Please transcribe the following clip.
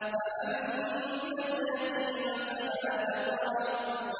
فَأَمَّا الْيَتِيمَ فَلَا تَقْهَرْ